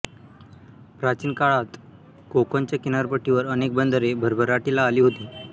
प्राचीन काळात कोकणच्या किनारपट्टीवर अनेक बंदरे भरभराटीला आली होती